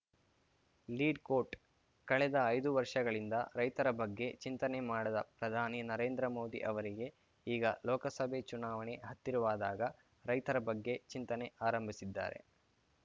lead quote ಕಳೆದ ಐದು ವರ್ಷಗಳಿಂದ ರೈತರ ಬಗ್ಗೆ ಚಿಂತನೆ ಮಾಡದ ಪ್ರಧಾನಿ ನರೇಂದ್ರ ಮೋದಿ ಅವರಿಗೆ ಈಗ ಲೋಕಸಭೆ ಚುನಾವಣೆ ಹತ್ತಿರವಾದಾಗ ರೈತರ ಬಗ್ಗೆ ಚಿಂತನೆ ಆರಂಭಿಸಿದ್ದಾರೆ